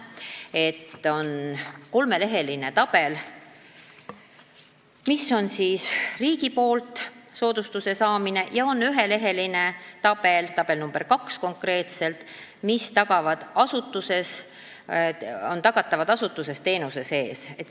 On kolmeleheline tabel, kus on kirjas riigi poolt soodustuse saamine, ja üheleheline tabel, tabel nr 2, kus on kirjas, mida tagatakse asutuses teenuse sees.